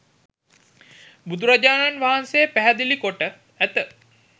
බුදුරජාණන් වහන්සේ පැහැදිලි කොට ඇත.